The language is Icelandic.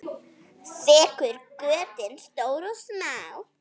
Þekur götin stór og smá.